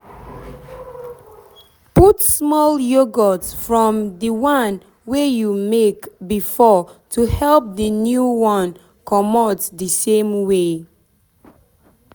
put small yoghurt from the one wey you make before to help the new one comot the same way.